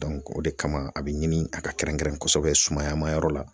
o de kama a be ɲini a ka kɛrɛnkɛrɛn kɔsɛbɛ sumayaman yɔrɔ la